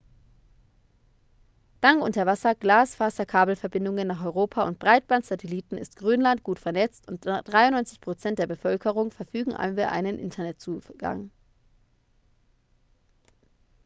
dank unterwasser-glasfaserkabelverbindungen nach europa und breitband-satelliten ist grönland gut vernetzt und 93 % der bevölkerung verfügen über einen internetzugang